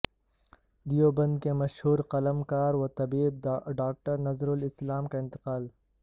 دیوبندکے مشہور قلمکار و طبیب ڈاکٹر نذرالاسلام کا انتقال